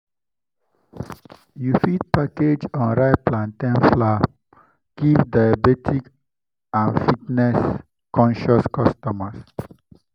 you fit package unripe plantain flour give diabetic and fitness-conscious customers.